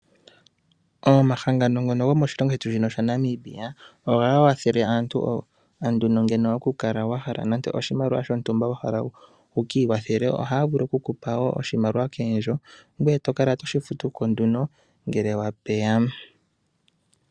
Omahangano gomoshilongo shetu shaNamibia, ohaga kwathele aantu, uuna nduno wa hala oshimaliwa wu ki ikwathele, ohaya vulu okukupa oshimaliwa koondjo, ngoye to kala to shi futu ko nduno, ngele kwata ondjambi.